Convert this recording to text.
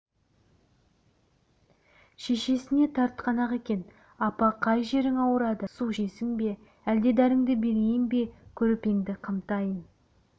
шешесіне тартқан-ақ екен апа қай жерің ауырады су ішесің бе әлде дәріңді берейін бе көрпеңді қымтайын